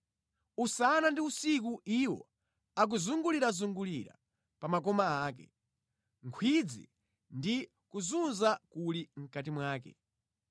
Usana ndi usiku iwo akuzungulirazungulira pa makoma ake; nkhwidzi ndi kuzunza kuli mʼkati mwake.